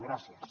gràcies